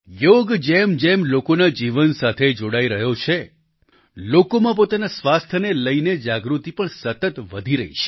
યોગ જેમજેમ લોકોના જીવન સાથે જોડાઈ રહ્યો છે લોકોમાં પોતાના સ્વાસ્થ્યને લઈને જાગૃતિ પણ સતત વધી રહી છે